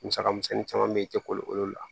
Musaka misɛnnin caman bɛ yen i tɛ kolo olu la